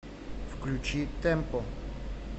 включи тэмпо